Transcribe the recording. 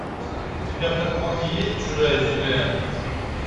у тебя в каталоге есть чужая земля